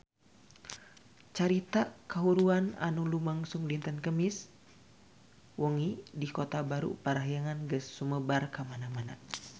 Carita kahuruan anu lumangsung dinten Kemis wengi di Kota Baru Parahyangan geus sumebar kamana-mana